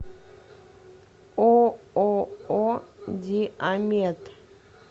ооо диамед